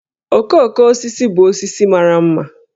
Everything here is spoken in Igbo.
Okooko osisi bụ osisi mara ḿmà